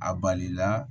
A balila